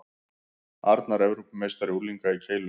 Arnar Evrópumeistari unglinga í keilu